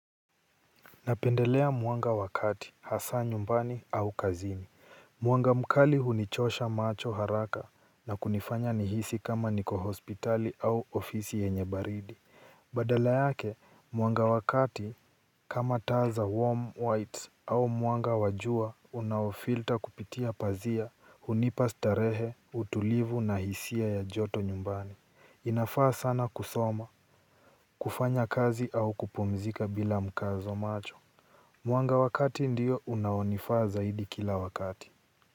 Napendelea mwanga wa kati hasa nyumbani au kazini. Mwanga mkali hunichosha macho haraka na kunifanya nihisi kama niko hospitali au ofisi yenye baridi. Badala yake mwanga wa kati kama taa za warm whites au mwanga wa jua unaofilter kupitia pazia hunipa starehe, utulivu na hisia ya joto nyumbani. Inafaa sana kusoma kufanya kazi au kupumzika bila mkazo macho. Mwanga wa kati ndio unaonifaa zaidi kila wakati.